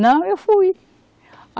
Não, eu fui.